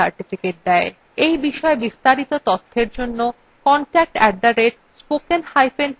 এই বিষয় বিস্তারিত তথ্যের জন্য contact @spokentutorial org তে ইমেল করুন